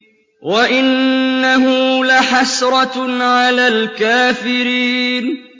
وَإِنَّهُ لَحَسْرَةٌ عَلَى الْكَافِرِينَ